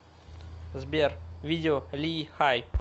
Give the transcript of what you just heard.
сбер видео ли хай